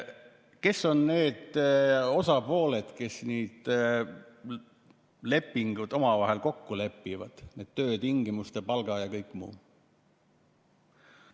Kes on need osapooled, kes need lepingud omavahel kokku lepivad, need töötingimused, palga ja kõik muu?